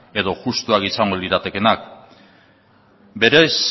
edo justuak izango liratekeenak berez